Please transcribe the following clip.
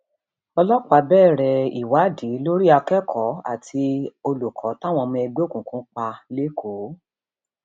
ọlọpàá bẹrẹ um ìwádìí lórí akẹkọọ àti olùkọ táwọn ọmọ ẹgbẹ òkùnkùn pa lẹkọọ um